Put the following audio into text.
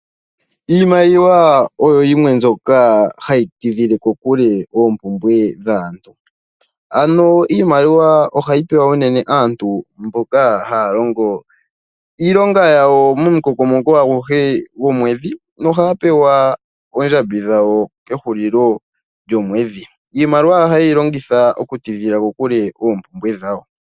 Iimaliwa oyo yimwe mbyoka hayi tidhile kokule oompumbwe dhaantu. Iimaliwa ohayi pewa unene aantu mboka haya longo iilonga yawo momukokomoko aguhe gomwedhi. Ohaya pewa oondjambi dhawo kehulilo lyomwedhi. Iimaliwa ohayeyi longitha oku tidhila kokule oompumbwe dhawo.